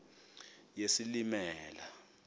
yesilimela